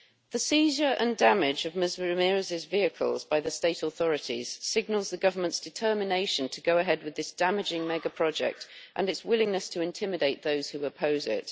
The seizure and damage of Ms Ramirez's vehicles by the state authorities signals the Government's determination to go ahead with this damaging mega project and its willingness to intimidate those who oppose it.